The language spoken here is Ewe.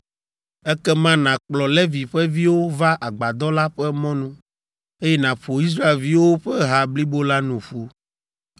Ekema, nàkplɔ Levi ƒe viwo va Agbadɔ la ƒe mɔnu eye naƒo Israelviwo ƒe ha blibo la nu ƒu.